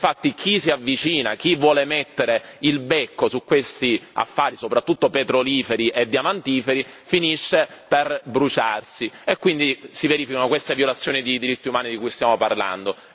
infatti chi si avvicina, chi vuole mettere il becco su questi affari soprattutto petroliferi e diamantiferi, finisce per bruciarsi e quindi si verificano queste violazioni di diritti umani di cui stiamo parlando.